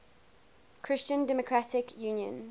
christian democratic union